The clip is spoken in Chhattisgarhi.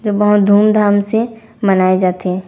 जो बहुत धूमधाम से मनाए जाथे।